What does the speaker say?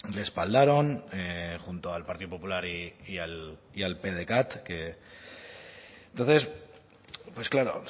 respaldaron junto al partido popular y al pdecat entonces pues claro o